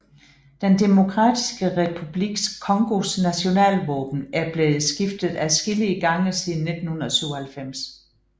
Den Demokratiske Republik Congos nationalvåben er blevet skiftet adskillige gange siden 1997